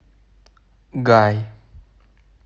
гай